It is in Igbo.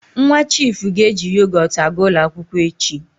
Nwa chiifu ga-eji yogot aga ụlọ akwụkwọ echi.